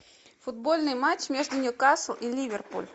футбольный матч между ньюкасл и ливерпуль